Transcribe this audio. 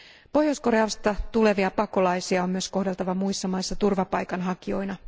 Pohjois Koreasta tulevia pakolaisia on myös kohdeltava muissa maissa turvapaikan hakijoina.